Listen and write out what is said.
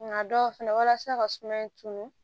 Nka dɔw fɛnɛ walasa ka sumaya tunun